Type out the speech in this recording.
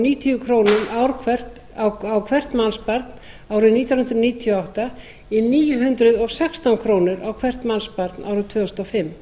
níutíu króna ár hvert á hvert mannsbarn árið nítján hundruð níutíu og átta í níu hundruð og sextán krónur á hvert mannsbarn árið tvö þúsund og fimm